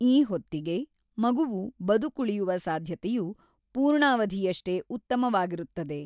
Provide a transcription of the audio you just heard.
ಈ ಹೊತ್ತಿಗೆ, ಮಗುವು ಬದುಕುಳಿಯುವ ಸಾಧ್ಯತೆಯು ಪೂರ್ಣಾವಧಿಯಷ್ಟೇ ಉತ್ತಮವಾಗಿರುತ್ತದೆ.